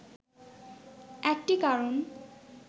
একটি কারণ